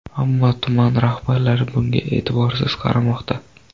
Ammo tuman rahbarlari bunga e’tiborsiz qaramoqda.